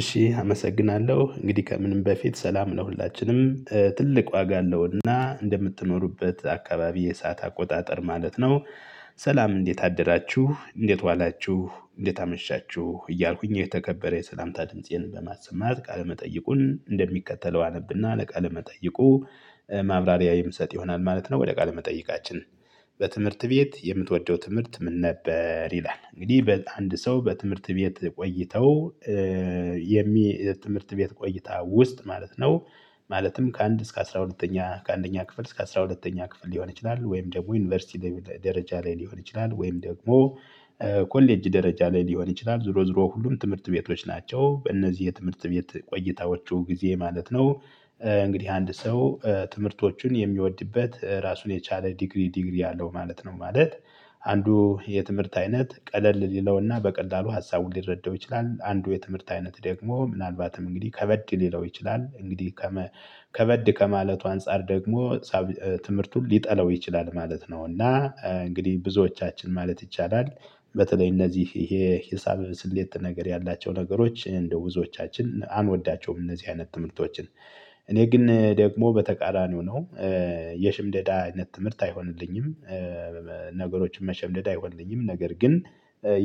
እሺ አመሰግናለሁ እንግዲህ ከምንም በፊት ሰላም ለሁላችንም ትልቅ ዋጋ አለውና እንደምትኖሩበት አካባቢ የሰዓት አቆጣጠር ማለት ነው። ሰላም እንዴት አደራችሁ እንዴት ዋላችሁ እንዴት አመሻችሁ እያልኩኝ የተከበረ የሰላምታ ድምፄን በማሰማት ቃለ መጠይቁን እንደሚከተለው አነብና ለቃለ መጠይቁ ማብራሪያ የምሰጥ ይሆናል ማለት ነው። ወደ ቃል መጠይቃችን። በትምህርት ቤት የምትወደው ትምህርት ምን ነበር ይላል? እንግዲህ በአንድ ሰው በትምህርት ቤት ቆይተው የሚ የትምህርት ቤት ቆይታ ውስጥ ማለት ነው። ማለትም ከአንድ እስከ አስራ ሁለተኛ ከአንደኛ ክፍል እስከ አስራ ሁለተኛ ክፍል ሊሆን ይችላል። ወይም ደግሞ ዩኒቨርሲቲ ደረጃ ላይ ሊሆን ይችላል። ወይም ደግሞ ኮሌጅ ደረጃ ላይ ሊሆን ይችላል ዝሮ ዝሮ ሁሉም ትምህርት ቤቶች ናቸው። በእነዚህ የትምህርት ቤት ቆይታዎቹ ጊዜ ማለት ነው። እንግዲህ አንድ ሰው ትምህርቶቹን የሚወድበት ራሱን የቻለ ዲግሪ ዲግሪ አለው ማለት ነው። ማለት አንዱ የትምህርት አይነት ቀለል ሊለውና በቀላሉ ሀሳቡን ሊረዳው ይችላል። አንዱ የትምህርት አይነት ደግሞ ምናልባትም እንግዲህ ከበድ ሊለው ይችላል እንግዲህ ከመ ከበድ ከማለቱ አንፃር ደግሞ ፀ ትምህርቱን ሊጠላው ይችላል ማለት ነው። እና እንግዲህ ብዙዎቻችን ማለት ይቻላል በተለይ እነዚህ ይሄ ሂሳብ ስሌት ነገር ያላቸው ነገሮች እንደ ውዞቻችን አንወዳቸውም። እነዚህ አይነት ትምህርቶችን እኔ ግን ደግሞ በተቃራኒው ነው። የሽምደዳ አይነት ትምህርት አይሆንልኝም። ነገሮችን መሸምደድ አይሆንልኝም ነገር ግን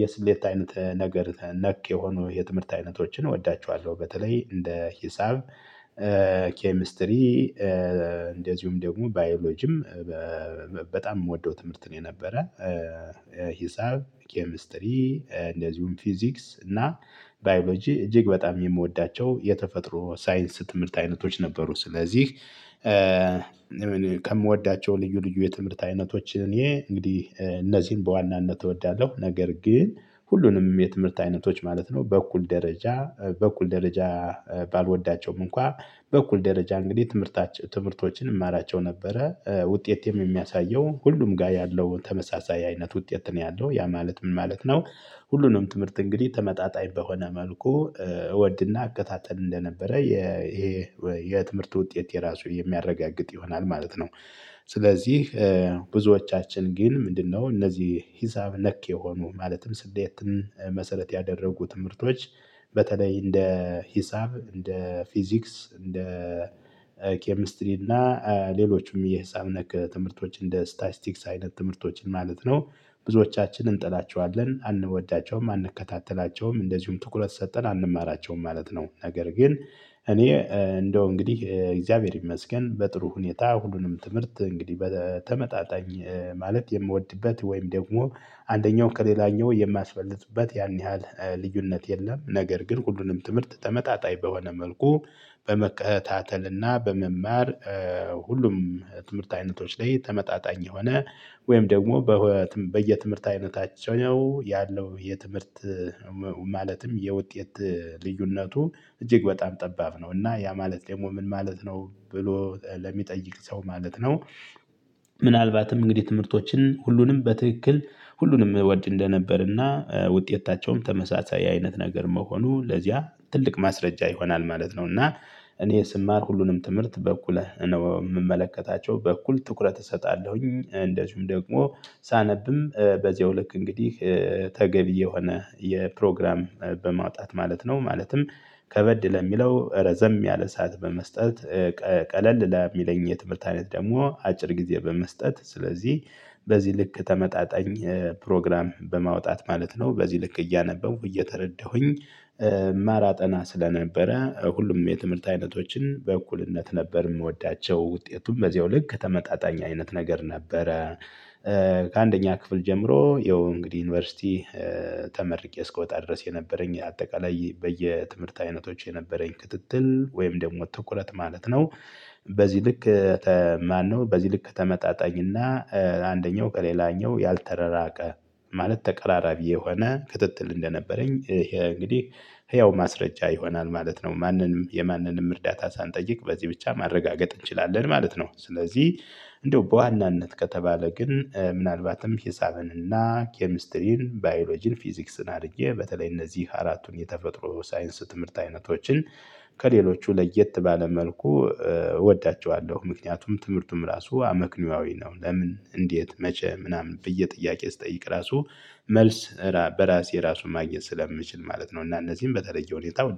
የስሌት አይነት ነገር ነክ የሆኑ የትምህርት አይነቶችን እወዳቸዋለሁ። በተለይ እንደ ሂሳብ ኬሚስትሪ እንደዚሁም ደግሞ ባዮሎጂም በጣም የምወደው ትምህርት ነው። የነበረ ሂሳብ ኬሚስትሪ እንደዚሁም ፊዚክስ እና ባዮሎጂ እጅግ በጣም የምወዳቸው የተፈጥሮ ሳይንስ ትምህርት አይነቶች ነበሩ። ስለዚህ ከምወዳቸው ልዩ ልዩ የትምህርት አይነቶች እኔ እንግዲህ እነዚህን በዋናነት እወዳለሁ። ነገር ግን ሁሉንም የትምህርት አይነቶች ማለት ነው በእኩል ደረጃ በእኩል ደረጃ ባልወዳቸውም እንኳን በኩል ደረጃ እንግዲህ ትምህርታችን ትምህርቶችን እማራቸው ነበረ ውጤቴም የሚያሳየው ሁሉም ጋር ያለው ተመሳሳይ አይነት ውጤት ነው። ያለው ያ ማለት ምን ማለት ነው? ሁሉንም ትምህርት እንግዲህ ተመጣጣኝ በሆነ መልኩ እወድና እከታተል እንደነበረ የ የትምህርት ውጤት የራሱ የሚያረጋግጥ ይሆናል ማለት ነው። ስለዚህ ብዙዎቻችን ግን ምንድነው እነዚህ ሂሳብ ነክ የሆኑ ማለትም ስሌትን መሰረት ያደረጉ ትምህርቶች? በተለይ እንደ ሂሳብ እንደ ፊዚክስ እንደ ኬሚስትሪ እና ሌሎችም የሂሳብ ነክ ትምህርቶች እንደ ስታይስቲክስ አይነት ትምህርቶችን ማለት ነው። ብዙዎቻችን እንጥላቸዋለን አንወዳቸውም አንከታተላቸውም እንደዚሁም ትኩረት ሰጠን አንማራቸውም ማለት ነው። ነገር ግን እኔ እንደው እንግዲህ እግዚአብሔር ይመስገን በጥሩ ሁኔታ ሁሉንም ትምህርት እንግዲህ በተመጣጣኝ ማለት የምወድበት ወይም ደግሞ አንደኛው ከሌላኛው የማስበልጥበት ያን ያህል ልዩነት የለም። ነገር ግን ሁሉንም ትምህርት ተመጣጣኝ በሆነ መልኩ በመከታተልና በመማር ሁሉም ትምህርት አይነቶች ላይ ተመጣጣኝ የሆነ ወይም ደግሞ በየትምህርት አይነታቸው ያለው የትምህርት ማለትም የውጤት ልዩነቱ እጅግ በጣም ጠባብ ነው። እና ያ ማለት ደግሞ ምን ማለት ነው ብሎ ለሚጠይቅ ሰው ማለት ነው። ምናልባትም እንግዲህ ትምህርቶችን ሁሉንም በትክክል ሁሉንም እወድ እንደነበርና ውጤታቸውም ተመሳሳይ አይነት ነገር መሆኑ ለዚያ ትልቅ ማስረጃ ይሆናል ማለት ነው። እና እኔ ስማር ሁሉንም ትምህርት በኩል ነው የምመለከታቸው በኩል ትኩረት እሰጣለሁኝ። እንደዚሁም ደግሞ ሳነብም በዚያው ልክ እንግዲህ ተገቢ የሆነ የፕሮግራም በማውጣት ማለት ነው። ማለትም ከበድ ለሚለው ረዘም ያለ ሰዓት በመስጠት። ቀለል ለሚለኝ የትምህርት አይነት ደግሞ አጭር ጊዜ በመስጠት ስለዚህ በዚህ ልክ ተመጣጣኝ ፕሮግራም በማውጣት ማለት ነው። በዚህ ልክ እያነበብኩ እየተረዳሁኝ ማራጠና ስለነበረ ሁሉም የትምህርት አይነቶችን በእኩልነት ነበር የምወዳቸው ውጤቱም በዚያው ልክ ተመጣጣኝ አይነት ነገር ነበረ። ከአንደኛ ክፍል ጀምሮ ይኸው እንግዲህ ዩኒቨርሲቲ ተመርቄ እስክወጣ ድረስ የነበረኝ አጠቃላይ በየትምህርት አይነቶች የነበረኝ ክትትል ወይም ደግሞ ትኩረት ማለት ነው። በዚህ ልክ ማነው በዚህ ልክ ተመጣጣኝና አንደኛው ከሌላኛው ያልተረራቀ ማለት ተቀራራቢ የሆነ ክትትል እንደነበረኝ ይሄ እንግዲህ ህያው ማስረጃ ይሆናል ማለት ነው። ማንንም የማንንም እርዳታ ሳንጠይቅ በዚህ ብቻ ማረጋገጥ እንችላለን ማለት ነው። ስለዚህ እንደው በዋናነት ከተባለ ግን ምናልባትም ሂሳብንና ኬሚስትሪን ባዮሎጂን ፊዚክስን አድርጌ በተለይ እነዚህ አራቱን የተፈጥሮ ሳይንስ ትምህርት አይነቶችን ከሌሎቹ ለየት ባለ መልኩ እወዳቸዋለሁ። ምክንያቱም ትምህርቱም ራሱ አመክንዮአዊ ነው። ለምን እንዴት መቼህ ምናምን ብየ ጥያቄ ስጠይቅ ራሱ መልስ በራሴ ራሱን ማግኘት ስለምችል ማለት ነው። እና እነዚህን በተለየ ሁኔታ